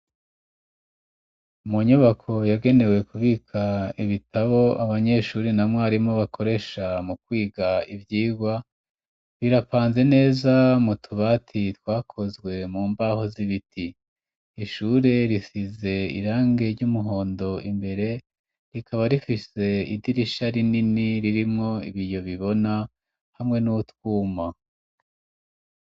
Mu nyubako yagenewe kubika ibitabo ,Abanyeshuri na mwarimu bakoresha mu kwiga ivyigwa birapanze neza mu tubati ,twakozwe mu mbaho z'ibiti ,ishure risize irangi ry'umuhondo imbere, rikaba rifise idirisha rinini ririmwo ibiyo bibona hamwe n'utwuma.